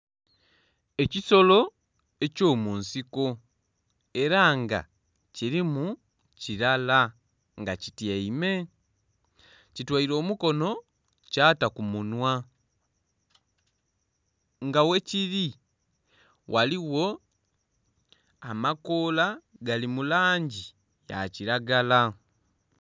Ekisolo ekyo munsiko era nga kirimu kirala nga kityaime, ki toire omukono kyata ku munhwa nga ghe kiri ghaligho amakoola gali mu langi ya kilagala.